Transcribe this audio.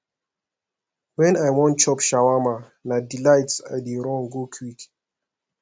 wen i wan chop shawama na delights i dey run go quick